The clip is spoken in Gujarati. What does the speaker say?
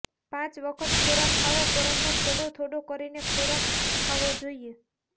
પાંચ વખત ખોરાક ખાવો પરંતુ થોડો થોડો કરીને ખોરાક ખાવો જોઈએ